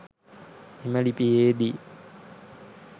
එම ලිපියේදී